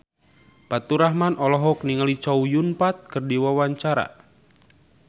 Faturrahman olohok ningali Chow Yun Fat keur diwawancara